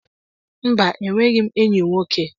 Mba, enweghị m enyi nwoke.